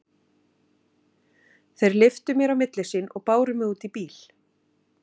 Þeir lyftu mér á milli sín og báru mig út í bíl.